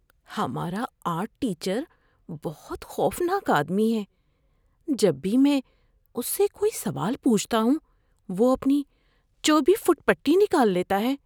ہمارا art teacher بہت خوفناک آدمی ہے۔ جب بھی میں اس سے کوئی سوال پوچھتا ہوں، وہ اپنی چوبی فٹ پٹی نکال لیتا ہے۔